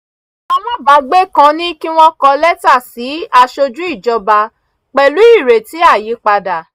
alábàágbé kan ní kí wọ́n kọ lẹ́tà sí aṣojú ìjọba pẹ̀lú ireti àyípadà